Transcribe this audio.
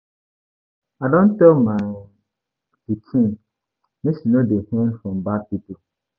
I don tell my pikin make she no dey earn from bad people.